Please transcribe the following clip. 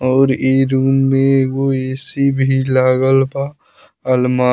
और इ रूम में एगो ए.सी. भी लागल बा अलमा --